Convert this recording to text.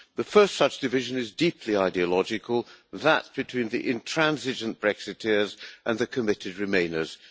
The first such division is deeply ideological that between the intransigent Brexiteers and the committed remainers.